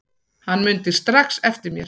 Hann mundi strax eftir mér.